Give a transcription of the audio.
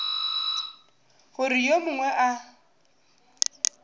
gore ge yo mongwe a